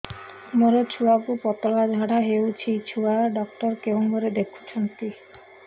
ମୋର ଛୁଆକୁ ପତଳା ଝାଡ଼ା ହେଉଛି ଛୁଆ ଡକ୍ଟର କେଉଁ ଘରେ ଦେଖୁଛନ୍ତି